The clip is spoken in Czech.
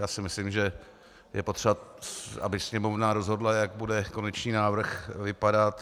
Já si myslím, že je potřeba, aby Sněmovna rozhodla, jak bude konečný návrh vypadat.